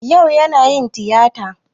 Ya'u yana yin tiyata.